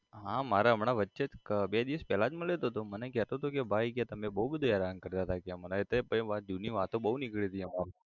હા મારે હમણાં વચ્ચે જ બે દિવસ પેલા જ મળ્યો તો તો મને કહેતો હતો કે ભાઈ કે તમે બહુ બધું હેરાન કરતા હતા કે મને એટલે પહી જૂની વાતો બહુ નીકળી હતી અમારે